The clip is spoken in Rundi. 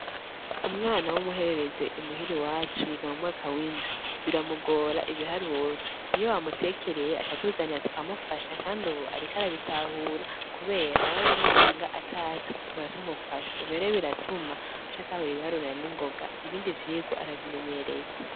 Umwana w'umuherereze imuhiri wacu yiga mu mwaka windwi biramugora ibiharura iyo amutekereye acatuzanira tukamufasha, kandi, ubu, ariko arabitahura, kubera hariho bimusanga atazi kurutukara tumufasha ivirore biratuma aca atahura ibiharurana n'ingoga ibindi vyigwa arabimenyereye.